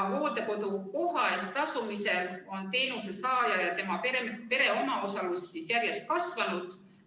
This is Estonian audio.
Hooldekodukoha eest tasumisel on teenuse saaja ja tema pere omaosalus järjest kasvanud.